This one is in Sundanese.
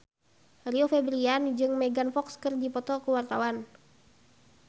Rio Febrian jeung Megan Fox keur dipoto ku wartawan